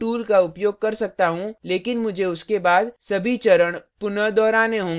मैं undo tool का उपयोग कर सकता हूँ लेकिन मुझे उसके बाद सभी चरण पुनः दोहराने होंगे